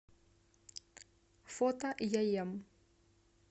фото яем